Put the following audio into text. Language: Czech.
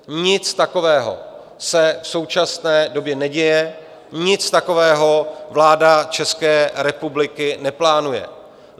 Nic takového se v současné době neděje, nic takového vláda České republiky neplánuje.